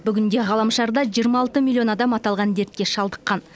бүгінде ғаламшарда жиырма алты миллион адам аталған дертке шалдыққан